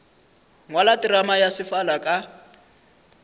ngwala terama ya sefala ka